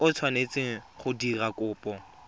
o tshwanetseng go dira kopo